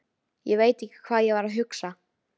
Ég veit ekki hvað ég var að hugsa.